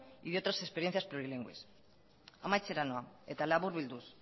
y de otras experiencias plurilingües amaitzera nora eta laburbilduz